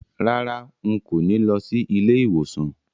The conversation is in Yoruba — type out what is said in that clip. Rárá, n kò ní lọ sí ilé ìwòsàn